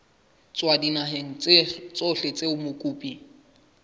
tswa dinaheng tsohle tseo mokopi